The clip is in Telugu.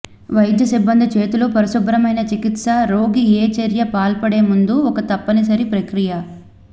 వైద్య సిబ్బంది చేతులు పరిశుభ్రమైన చికిత్స రోగి ఏ చర్య పాల్పడే ముందు ఒక తప్పనిసరి ప్రక్రియ